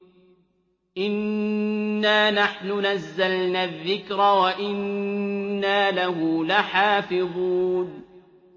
إِنَّا نَحْنُ نَزَّلْنَا الذِّكْرَ وَإِنَّا لَهُ لَحَافِظُونَ